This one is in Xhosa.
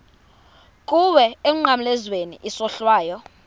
kuwe emnqamlezweni isohlwayo